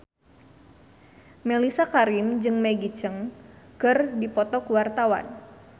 Mellisa Karim jeung Maggie Cheung keur dipoto ku wartawan